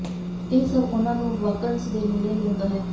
ਇਹ ਸਭ ਉਹਨਾਂ ਨੂੰ ਵਾਕੰਸ਼ ਦੇ ਨੇੜੇ ਲਿਆਉਂਦਾ ਹੈ